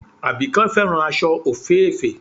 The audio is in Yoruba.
Àbíkẹ́ fẹ́ràn aṣọ òféèfé